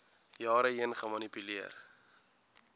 jare heen gemanipuleer